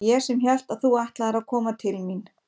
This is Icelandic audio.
Og ég sem hélt að þú ætlaðir að koma til mín.